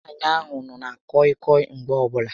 Nwaànyị ahụ nọ na kọị kọị Mgbe ọbụla